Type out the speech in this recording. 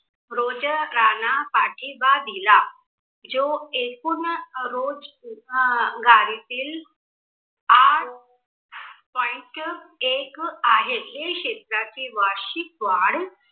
रोजगांना पाठिबा दिला. जो एकूण रोजगारीतील आठ point एक आहे. हे क्षेत्राची वार्षिक वाढ